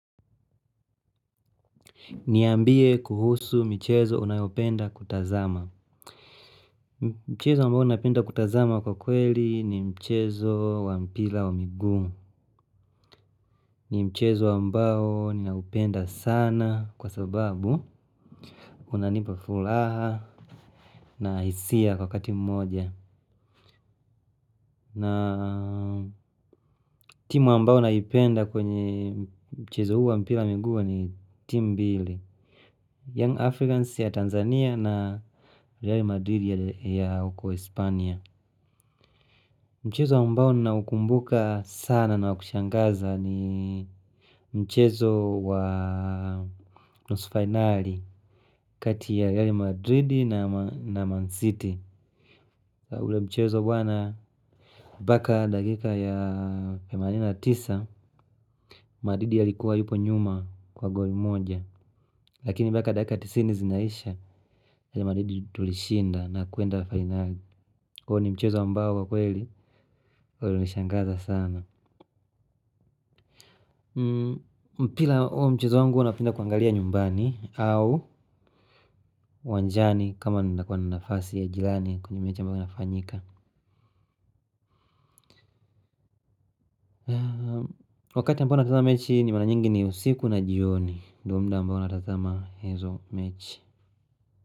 Niambie kuhusu michezo unayopenda kutazama. Mchezo ambao napenda kutazama kwa kweli ni mchezo wa mpira wa miguu. Ni mchezo ambao ninaupenda sana kwa sababu unanipa furaha na hisia kwa wakati mmoja. Na timu ambao naipenda kwenye mchezo huu mpira wa miguu ni timu mbili Young Africans ya Tanzania na Real Madrid ya uko Espanya mchezo ambao naukumbuka na kushangaza sana ni mchezo wa nusu fainali kati ya real madrid na man city. Ule mchezo bwana mpaka dakika ya themanini na tisa, madrid alikuwa yupo nyuma kwa goli moja. Lakini mpaka dakika tisini zinaisha real madrid tulishinda na kwenda fainali. Kwa hivyo ni mchezo ambao kwa kweli, ulinishangaza sana. Mpira wa huo mchezo wangu huwa napenda kuangalia nyumbani au uwanjani kama ninakuwa na nafasi ya jirani kwenye mechi ambayo inafanyika. Wakati ambao natazama mechi ni mara nyingi ni usiku na jioni. Ndiyo muda ambao natazama hizo mechi.